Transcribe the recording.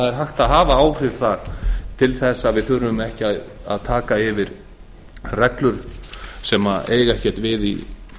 er hægt að hafa áhrif þar til þess að við þurfum ekki að yfirtaka reglur sem eiga ekkert við í